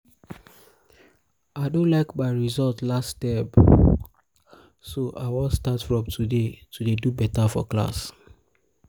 i no like my result last term so i wan start from today to dey do beta for class